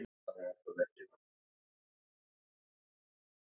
Einnig verður enski boltinn að sjálfsögðu til umræðu og fleira.